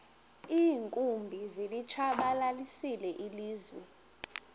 iinkumbi zilitshabalalisile ilizwe